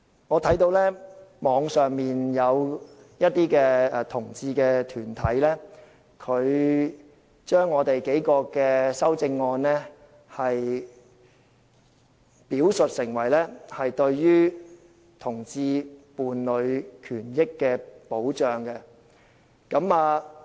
我看到網上有些同志團體將我們提出的數項修正案表述為對同志伴侶權益的保障。